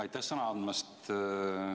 Aitäh sõna andmast!